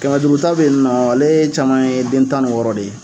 Kɛmɛ duuru ta bɛ ye ni nɔ ale caman ye den tan ni wɔɔrɔ de ye.